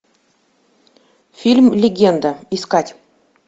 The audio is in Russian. фильм легенда искать